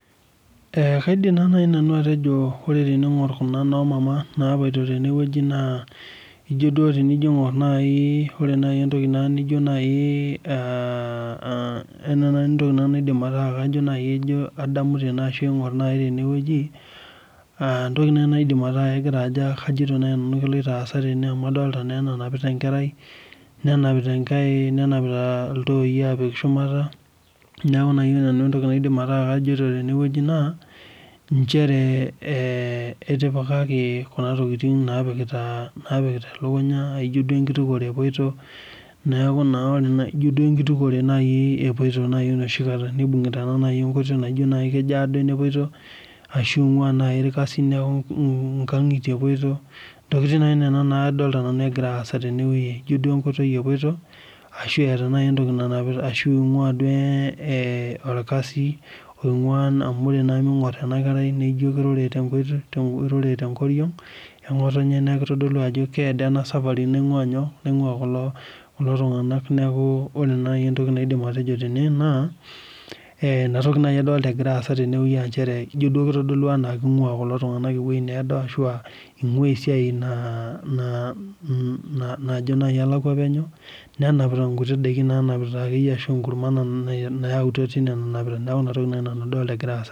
Ee kaidim nanu atejo ore pingir kunamama napoito tenewueji ore nai entoki naijo nai ee ore nai entoki naidim atejo keloito aasa tene amu adolta enanapita enkerai nenapita enkare teshumata neaku ore nai entoki naidim atejo na inchere etipikaki kunatokitin napikita elukunya ijobm enkitukuto epoito inoshikata nibungita nai enkoitoi ashu ibungita enkoitoi neaku ijo nkangitie epuoito ntokitin nai nona nadolita egira aasa tenewueji ashu ingua duo orkasi amu ore na pingur enakerai irure tenkoriong engotonye neaku eningur duo nai ijo kitau kelakwa enasafari naingwa nyoo kulo tunganak neaku ore nai entoki naidima atejo ijo kitadolu ajo naa najo nai alakwa penyo nenapita enkiti kurma neaku inatoki nai adolita nagira aasa